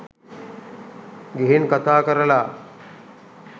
ගිහින් කතා කරලා